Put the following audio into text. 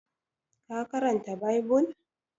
ka karanta bibul!